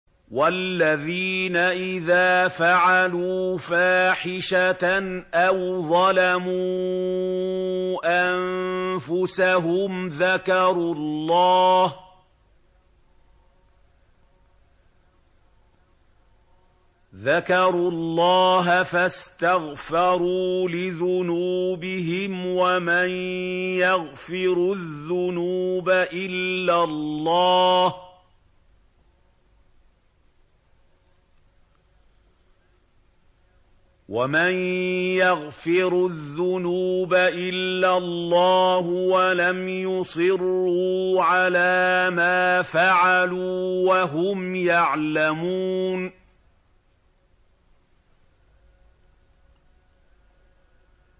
وَالَّذِينَ إِذَا فَعَلُوا فَاحِشَةً أَوْ ظَلَمُوا أَنفُسَهُمْ ذَكَرُوا اللَّهَ فَاسْتَغْفَرُوا لِذُنُوبِهِمْ وَمَن يَغْفِرُ الذُّنُوبَ إِلَّا اللَّهُ وَلَمْ يُصِرُّوا عَلَىٰ مَا فَعَلُوا وَهُمْ يَعْلَمُونَ